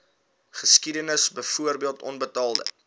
geskiedenis byvoorbeeld onbetaalde